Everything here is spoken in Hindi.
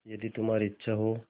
यदि तुम्हारी इच्छा हो